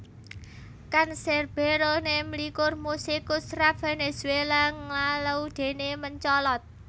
Canserbero nemlikur musikus rap Vènèzuéla nglalu déné mencolot